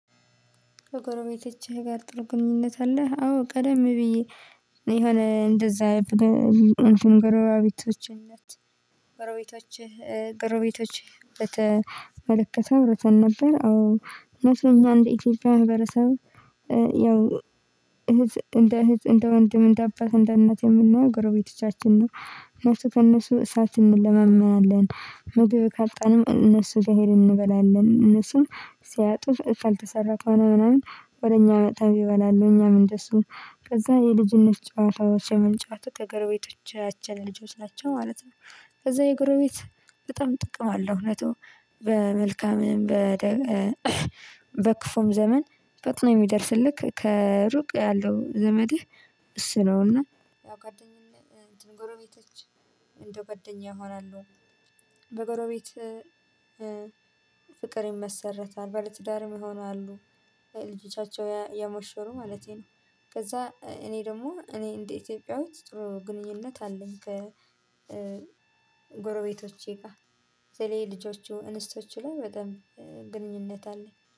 በጎረቤቶችህ ጋር ጥሩ ግንኙነት አለህ? አዎ ቀደም ብዬ የሆነ እንደዛ አይብረን ጎረቤቶችህ ነች ጎረቤቶችህ ጎረቤቶችህ በተመለከተ አውርተን ነበር አዎ እነሱ እኛ እንደ ኢትዮጵያ ህብረተሰብ ያው እህት እንደ እህት እንደ ወንድም እንደ አባት እንደ እናት የምናየው ጎረቤቶቻችን ነው። እነሱ ከእነሱ እሳት እንለማመናለን ምግብ ካጣንም እነሱጋ ሄደን እንበላለን እነሱም ሲያጡ ካልተሰራ ከሆነ ምናምን ወደ እኛ መተውም ይበላሉ እኛም እንደሱ ነው። ከዛ የልጅነት ጫዋታዎች የምንጫወተው ከጎረቤቶቻችን ልጆች ናቸው ማለት ነው። ከዛ የጎረቤት በጣም ጥቅም አለው እውነቱ በመልካምም በክፉም ዘመን ፈጥኖ የሚደርስልህ ከሩቅ ያለው ዘመህ እሱ ነውና። ያው ጓደኛዬ እንትን ጎረቤቶች እንደ ጓደኛ ይሆናሉ። በጎረቤት ፍቅር ይመሰረታል ባለትዳርም ይሆናሉ ልጆቻቸውን እየሞሸሩ ማለቴ ነው። ከዛ እኔ ደሞ እኔ እንደ ኢትዮጵያዊት ጥሩ ግንኙነት አለኝ ከጎረቤቶቼ ጋር። በተለይ ልጆቹ እንስቶቹ ላይ በጣም ግንኙነት አለኝ